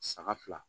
Saga fila